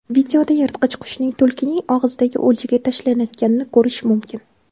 Videoda yirtqich qushning tulkining og‘zidagi o‘ljaga tashlanayotganini ko‘rish mumkin.